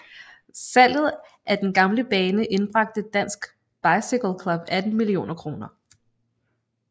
Salget af den gamle bane indbragte Dansk Bicycle Club 18 millioner kroner